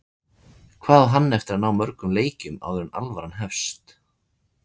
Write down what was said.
Hvað á hann eftir að ná mörgum leikjum áður en alvaran hefst?